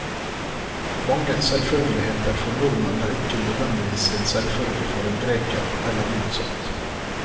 Mange selvfølgeligheter for nordmenn er ikke nødvendigvis en selvfølge for en greker, eller motsatt.